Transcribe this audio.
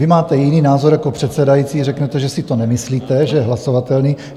Vy máte jiný názor jako předsedající, řeknete, že si to nemyslíte, že je hlasovatelný.